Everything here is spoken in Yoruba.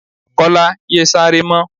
Kọ́lá! yé sáré mọ́.